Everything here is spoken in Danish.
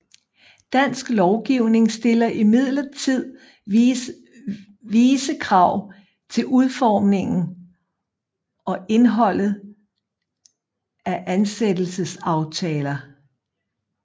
Dansk lovgivning stiller imidlertid vise krav til udformningen og indholdet af ansættelsesaftaler